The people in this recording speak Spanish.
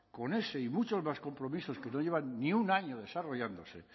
con ese y muchos más compromisos que no llevan ni un año desarrollándose